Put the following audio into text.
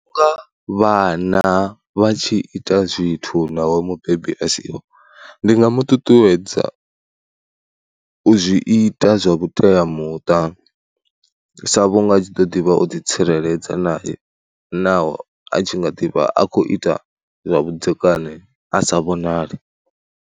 Nga vhana vha tshi ita zwithu naho mubebi a siho, ndi nga mu ṱuṱuwedza u zwi ita zwa vhuteamuṱa, sa vhunga tshi ḓo ḓivha u ḓitsireledza naye naho a tshi nga ḓi vha a tshi khou ita zwavhudzekani a sa vhonali.